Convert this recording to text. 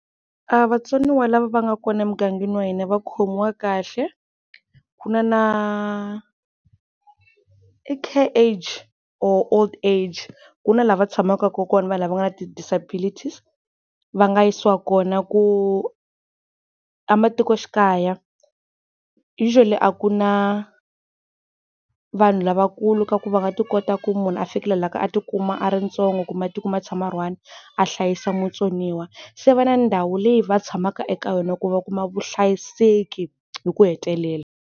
A vatsoniwa lava va nga kona emugangeni wa hina va khomiwa kahle, ku na na i Care-Age or Old-Age ku na laha va tshamaka kona vanhu lava va nga na ti-disabilities-i va nga yisiwa kona ku ematikoxikaya usual-i a ku na vanhu lavakulu ka ku va ti kota ku munhu a fikelela ka ku a ti kuma a ri ntsongo kumbe a tikuma a tshama a ri one a hlayisa mutsoniwa, se va na ndhawu leyi va tshamaka eka yona ku va kuma vuhlayiseki hi ku hetelela.